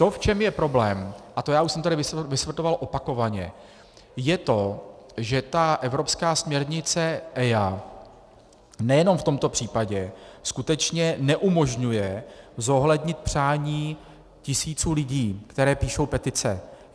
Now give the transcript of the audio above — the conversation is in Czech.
To, v čem je problém, a to já už jsem tady vysvětloval opakovaně, je to, že ta evropská směrnice EIA nejenom v tomto případě skutečně neumožňuje zohlednit přání tisíců lidí, kteří píšou petice.